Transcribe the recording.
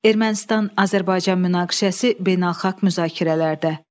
Ermənistan-Azərbaycan münaqişəsi beynəlxalq müzakirələrdə.